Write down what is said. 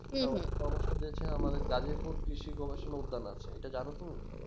সমস্ত দেশে আমাদের গাড়িয়া পুর কৃষি গবেষণা উদ্যান আছে এটা জানো তুমি